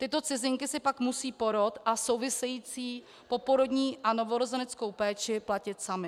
Tyto cizinky si pak musejí porod a související poporodní a novorozeneckou péči platit samy.